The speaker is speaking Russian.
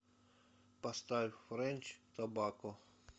поставь френч тобакко